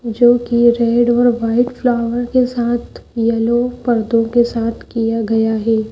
जोकि रेड और white flower के साथ यलो पर्दों के साथ किया गया है।